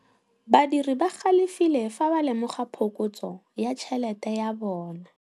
Badiri ba galefile fa ba lemoga phokotsô ya tšhelête ya bone.